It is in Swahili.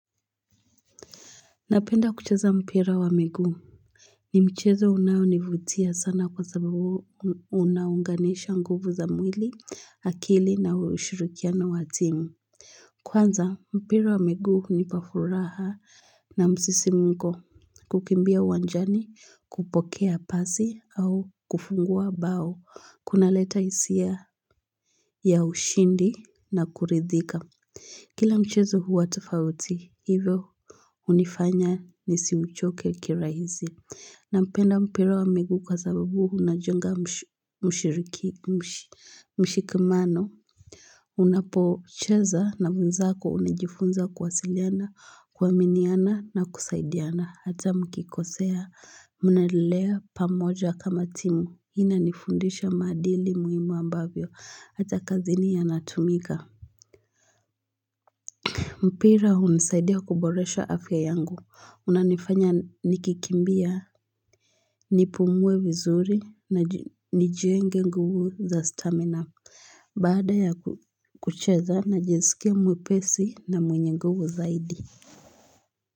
Napenda kucheza mpira wa miguu ni mchezo unaunivutia sana kwa sababu unaunganisha nguvu za mwili akili na ushirukiano watimu Kwanza mpira wa miguu huni pafuraha na msisimuko kukimbia uwanjani kupokea pasi au kufungua bao kuna leta hisia ya ushindi na kuridhika Kila mchezo huwa tofauti, hivyo hunifanya nisiuchoke kira hisi. Na mpenda mpira wa miguu kwa sababu unajenga mshiriki mshikamano. Unapo cheza na wenzako unajifunza kuwasiliana, kuaminiana na kusaidiana. Hata mkikosea mnalelea pamoja kama timu. Hii ina nifundisha maadili muhimu ambayo. Hata kazini yanatumika. Mpira hunisaidia kuboresha afya yangu unanifanya nikikimbia Nipumue vizuri na nijienge nguvu za stamina Baada ya kucheza najiskia mwepesi na mwenye nguvu zaidi.